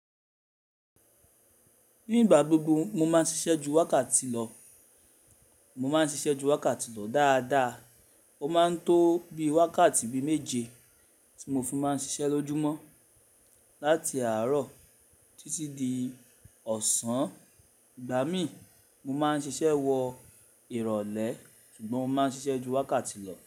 Ní ìgbà gbogbo mo máa ń ṣiṣẹ́ ju wákàtí lọ. Mo máa ń ṣiṣẹ́ ju wákàtí lọ dáadáa. Ó máa ń tó bí i wákàtí bi méje tí mo fi máa ń ṣiṣẹ́ lójúmọ́ láti àárọ̀ títí di ọ̀sán. Ìgbà mí, mo máa ń ṣiṣẹ́ wọ ìrọ̀lẹ́ ṣùgbọ́n mo máa ń ṣiṣẹ́ ju wákàtí lọ.